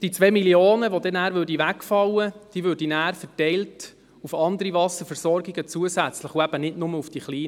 Die 2 Mio. Franken, die wegfallen würden, würden zusätzlich auf weitere Wasserversorgungen verteilt, eben nicht nur auf die kleinen.